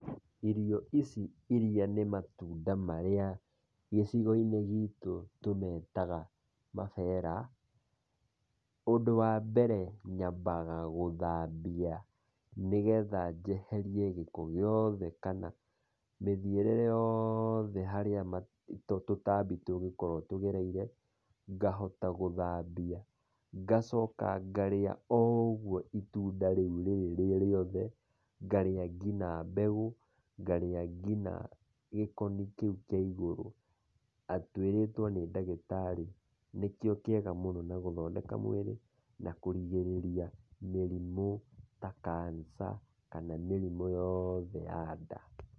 Irio ici iria nĩ matunda marĩa gicigo-inĩ gitũ tũmetaga mabera, ũndũ wa mbere nyamabaga gũthambia , nĩgetha njeherie gĩko gĩothe kana mĩthiĩre yothe harĩa tũtambi tũngĩkorwo tũgereire , ngahota gũthambia , ngacoka ngarĩa o ũguo itunda rĩrĩ rĩ rĩothe ngarĩa nginya mbegũ, ngaria nginya gĩkoni kĩu kĩa igũrũ, twĩrĩtwo nĩ ndagĩtarĩ nĩkĩo kĩega mũno na gũthondeka mwĩrĩ kurigĩrĩria mĩrimũ ta cancer kana mĩrimũ yothe ya nda.